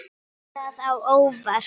Kemur það á óvart?